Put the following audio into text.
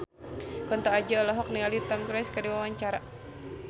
Kunto Aji olohok ningali Tom Cruise keur diwawancara